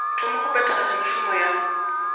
thoma go phethagatša mešomo ya